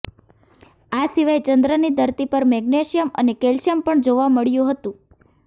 આ સિવાય ચંદ્રની ધરતી પર મેગ્નેશિયમ અને કેલ્શિયમ પણ જોવા મળ્યું હતું